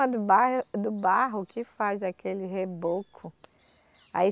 Do barro, do barro que faz aquele reboco. Aí